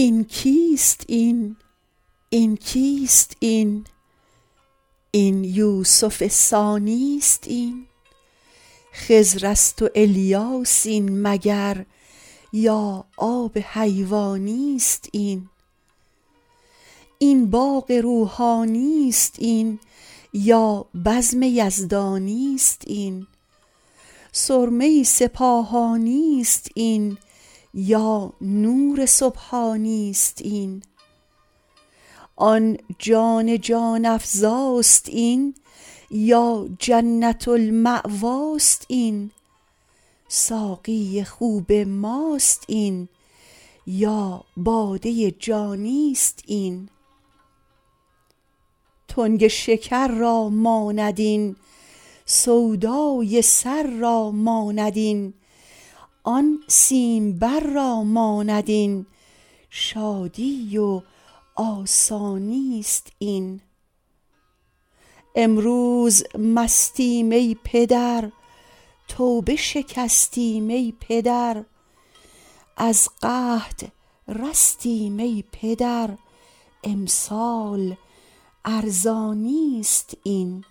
این کیست این این کیست این این یوسف ثانی است این خضر است و الیاس این مگر یا آب حیوانی است این این باغ روحانی است این یا بزم یزدانی است این سرمه سپاهانی است این یا نور سبحانی است این آن جان جان افزاست این یا جنت المأواست این ساقی خوب ماست این یا باده جانی است این تنگ شکر را ماند این سودای سر را ماند این آن سیمبر را ماند این شادی و آسانی است این امروز مستیم ای پدر توبه شکستیم ای پدر از قحط رستیم ای پدر امسال ارزانی است این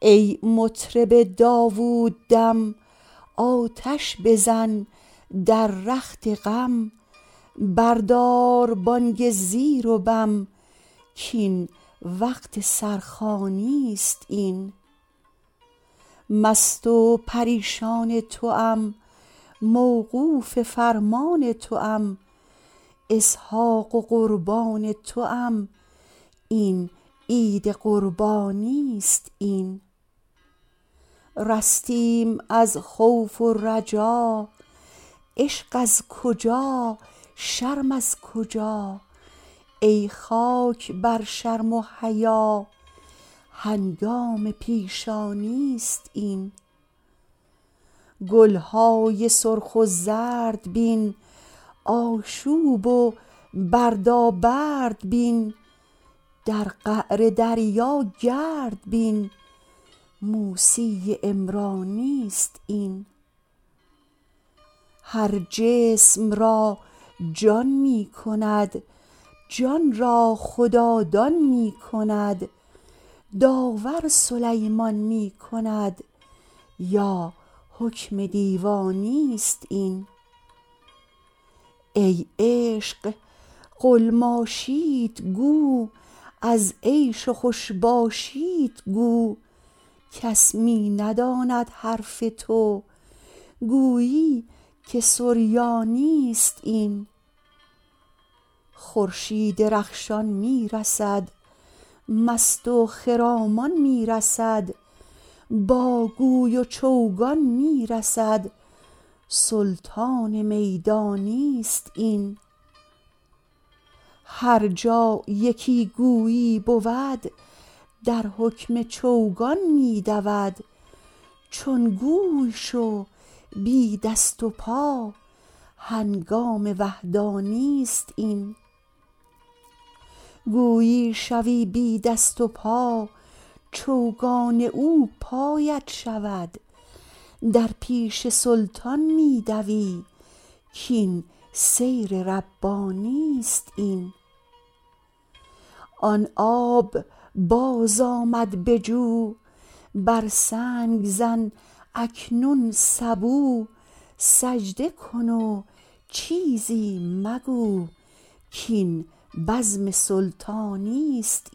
ای مطرب داووددم آتش بزن در رخت غم بردار بانگ زیر و بم کاین وقت سرخوانی است این مست و پریشان توام موقوف فرمان توام اسحاق قربان توام این عید قربانی است این رستیم از خوف و رجا عشق از کجا شرم از کجا ای خاک بر شرم و حیا هنگام پیشانی است این گل های سرخ و زرد بین آشوب و بردابرد بین در قعر دریا گرد بین موسی عمرانی است این هر جسم را جان می کند جان را خدادان می کند داور سلیمان می کند یا حکم دیوانی است این ای عشق قلماشیت گو از عیش و خوش باشیت گو کس می نداند حرف تو گویی که سریانی است این خورشید رخشان می رسد مست و خرامان می رسد با گوی و چوگان می رسد سلطان میدانی است این هر جا یکی گویی بود در حکم چوگان می دود چون گوی شو بی دست و پا هنگام وحدانی است این گویی شوی بی دست و پا چوگان او پایت شود در پیش سلطان می دوی کاین سیر ربانی است این آن آب بازآمد به جو بر سنگ زن اکنون سبو سجده کن و چیزی مگو کاین بزم سلطانی است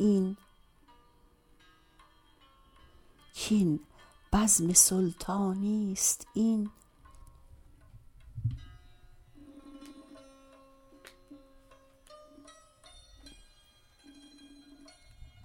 این